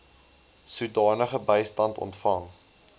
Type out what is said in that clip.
sodanige bystand ontvang